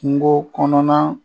Kungo kɔnɔna